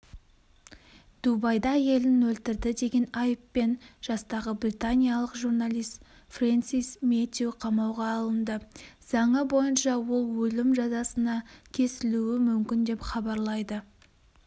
дубайда әйелін өлтірді деген айыппен жастағы британиялық журналист фрэнсис мэтью қамауға алынды заңы бойынша ол өлім жазасына кесілуі мүмкін деп хабарлайды